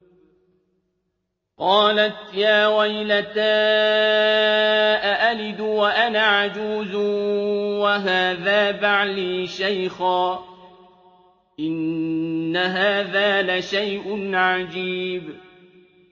قَالَتْ يَا وَيْلَتَىٰ أَأَلِدُ وَأَنَا عَجُوزٌ وَهَٰذَا بَعْلِي شَيْخًا ۖ إِنَّ هَٰذَا لَشَيْءٌ عَجِيبٌ